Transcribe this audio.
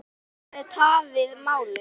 Það hafi tafið málið.